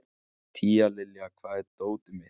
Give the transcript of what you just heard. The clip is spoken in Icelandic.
Tíalilja, hvar er dótið mitt?